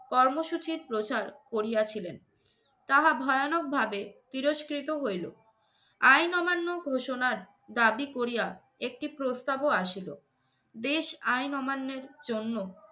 কর্মসূচির প্রচার করিয়াছিলেন। তাহা ভয়ানক ভাবে তিরস্কৃত হইলো। আইন অমান্য ঘোষণার দাবি করিয়া একটি প্রস্তাবও আসিল। দেশ আইন অমান্যের জন্য